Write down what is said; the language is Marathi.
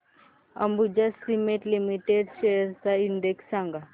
अंबुजा सीमेंट लिमिटेड शेअर्स चा इंडेक्स सांगा